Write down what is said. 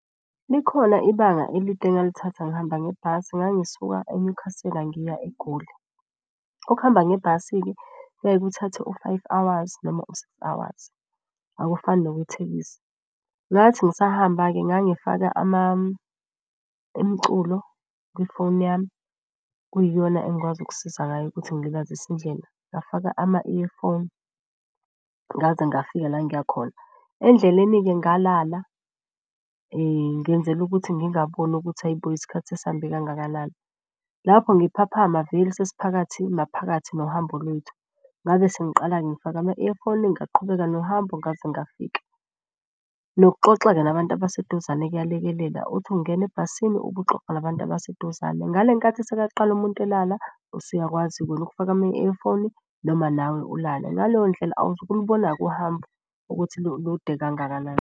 Likhona ibanga elide engalithatha ngihamba ngebhasi, ngangisuka eNyukhasela ngiya eGoli. Ukuhamba ngebhasi-ke kuyaye kuthathe u-five hours, noma u-six hours, akufani nokwe thekisi. Ngathi ngisahamba-ke ngangifaka imiculo kwifoni yami, kuyiyona engikwazi ukusiza ngayo ukuthi ngilibazise indlela, ngafaka ama-earphone ngaze ngafika la ngiya khona. Endleleni-ke ngalala ngenzela ukuthi ngingaboni ukuthi hhayi-bo isikhathi sesihambe kangakanani. Lapho ngiphaphama veli sesiphakathi maphakathi nohambo lwethu. Ngabe sengiqala-ke ngifaka ama-earphone ngaqhubeka nohambo ngaze ngafika. Nokuxoxa-ke nabantu abaseduzane kuyalekelela uthi ungena ebhasini ube uxoxa nabantu abaseduzane. Ngale nkathi seka qala umuntu elala usuyakwazi wena ukufaka ama-earphone, noma nawe ulale. Ngaleyo ndlela awuzukulubona-ke uhambo ukuthi lude kangakanani.